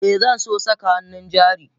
Eh Zanso saka hannun jari.